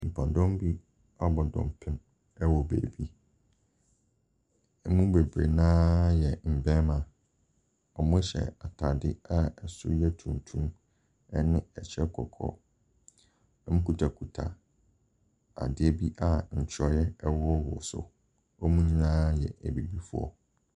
Nnipakuo bi abɔ dɔmpem wɔ baabi. Wɔn mu bebree no ara yɛ mmarima. Wɔhyɛ atadeɛ a ɛsoro yɛ tuntum ne kyɛ kɔkɔɔ. Wɔkutakuta adeɛ bi a ntwerɛeɛ wowɔwowɔ so. Wɔn nyinaa yɛ abibifoɔ.